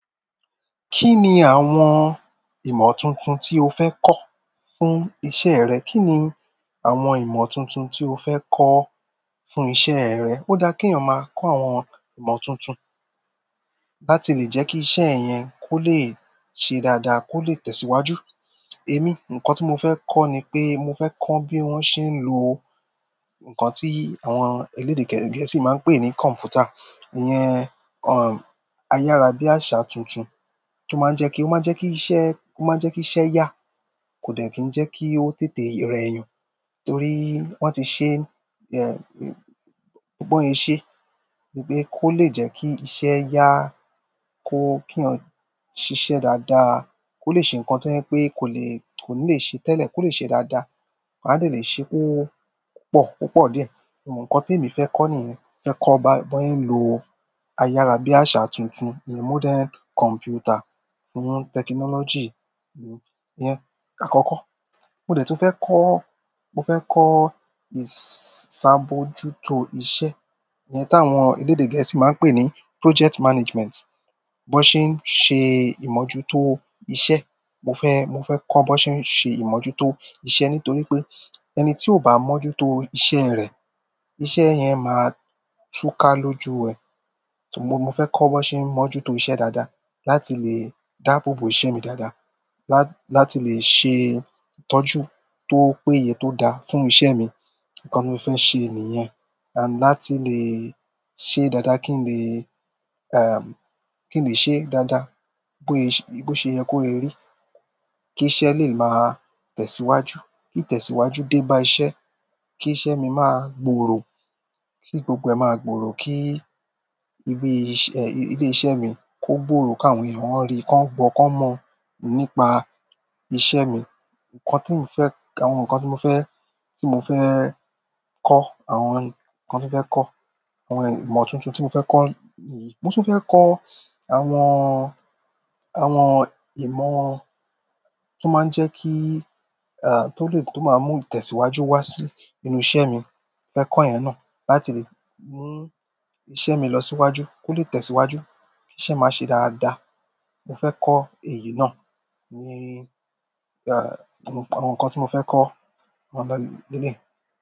Kí ni àwọn ìmọ̀ tuntun tí o fẹ́ kọ́ fún iṣẹ́ rẹ? Kí ni àwọn ìmọ̀ tuntun tí o fẹ́ kọ́ fún iṣẹ́ rẹ? Ó dá kí èèyàn máa kọ́ àwọn ìmọ̀ tuntun láti lè jẹ́ kí iṣẹ́ ẹ yẹn kó lè ṣe dáadáa kó lè tẹ̀síwájú. Èmi, nǹkan tí mo fẹ́ kọ́ ni pé mo fẹ́ kọ́ bí wọ́n ṣe ń lo nǹkan tí àwọn elédè gẹ̀ẹ́sì máa ń pè ní "computer" iyẹn, ayarabiasa tuntun o maa n je ki iṣẹ́ ya, ko de ki je ko tètè re eeyan, torí won ti se bi won se se ni ko le je ki iṣẹ́ ya kó kí eeyan ṣìṣẹ́ dáadáa, kó lè ṣe nǹkan tí ẹ̀ pé kò lè, kò ní lè ṣe tẹ́lẹ̀ kó lè ṣe dáadáa. Wọn a lè lè ṣe ó pọ̀, púpọ̀ dé. Nǹkan tí èmi fẹ́ kọ́ nìyẹn. Fẹ́ kọ́ bá, bóyá ń lo ayára bí àṣà tuntun ní modern computer, fún technology ni, yẹn àkọ́kọ́. Mo dẹ̀ tún fẹ́ kọ́, mo fẹ́ kọ́ ìsàbòjútó iṣẹ́ yẹn táwọn elédè gẹ̀ẹ́sì máa ń pè ní "project management." Bó ṣe ń ṣe ìmọ́jútó iṣẹ́, mo fẹ́, mo fẹ́ kọ́ bó ṣe ń ṣe ìmọ́jútó iṣẹ́ nítorí pé ẹni tí ò bá mọ́jútó iṣẹ́ rẹ̀, iṣẹ́ yẹn máa túká lójú ẹ. Mo fe ko bi won se n mojuto iṣẹ́ daada láti le daabobo iṣẹ́ mi daada la ti le se ìtọ́jú to péye fún iṣẹ́ mi nǹkan tí mo fẹ́ ṣe nìyẹn. Àń, láti lè ṣe dáadáa kí n lè, um, kí n lè ṣe dáadáa bóyá, bó ṣe yẹ kó rí, kí iṣẹ́ lè máa tẹ̀síwájú, kí ìtẹ̀síwájú dé bá iṣẹ́, kí iṣẹ́ mi máa gbòòrò, kí gbogbo ẹn máa gbòòrò, kí ibi iṣẹ́, ilé iṣẹ́ mi kó gbòòrò, kí àwọn èèyàn rí, kó gbọ́, kó mọ̀ nípa iṣẹ́ mi. Nǹkan tí mo fẹ́, àwọn nǹkan tí mo fẹ́, tí mo fẹ́ kọ́, àwọn nǹkan tí mo fẹ́ kọ́, àwọn ìmọ̀ tuntun tí mo fẹ́ kọ́ nìyí. Mo tún fẹ́ kọ́ àwọn, àwọn ìmọ̀ tó máa ń jẹ́ kí, èh, tó lè, tó máa ń mú ìtẹ̀síwájú wá sí inú iṣẹ́ mi. Mo fẹ́ kọ́ ẹ̀yẹn náà láti lè mú iṣẹ́ mi lọ síwájú, kó lè tẹ̀síwájú, kí iṣẹ́ máa ṣe dáadáa. Mo fẹ́ kọ́ èyí náà. Ni, à, àwọn nǹkan tí mo fẹ́ kọ́, àwọn nǹkan le leyii.